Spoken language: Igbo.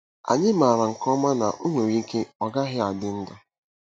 Anyị maara nke ọma na o nwere ike ọ gaghị adị ndụ.